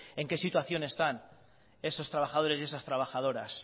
en que situación están esos trabajadores y esas trabajadoras